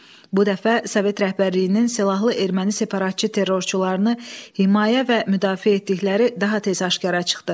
Bu dəfə Sovet rəhbərliyinin silahlı erməni separatçı terrorçularını himayə və müdafiə etdikləri daha tez aşkara çıxdı.